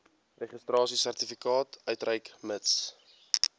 registrasiesertifikaat uitreik mits